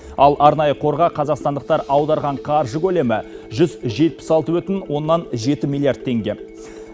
ал арнайы қорға қазақстандықтар аударған қаржы көлемі жүз жетпіс алты бүтін оннан жеті миллиард теңге